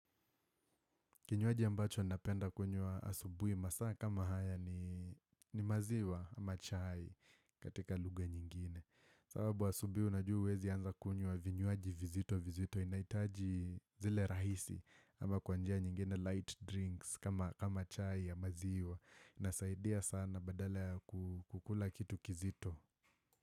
Kinywaji ambacho napenda kunyua asubui masaa kama haya ni maziwa ama chai katika lugha nyingine sababu asubuhi unajua huwezi anza kunyua vinywaji vizito vizito inahitaji zile rahisi ama kwabnjia nyingine light drinks kama chai ya maziwa inasaidia sana badala ya kukula kitu kizito.